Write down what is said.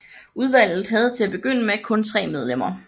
Udvalget havde til at begynde med kun tre medlemmer